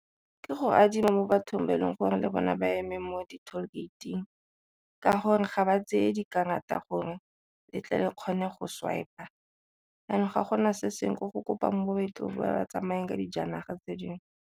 Ke go adimo mo bathong ba e leng gore le bone ba eme mo di-toll gate-ing ka gore ga ba tseye dikarata gore le tle le kgone go swiper, jaanong ga gona se sengwe ko go kopang mo leetong ba ba tsamayang ka dijanaga tse dingwe.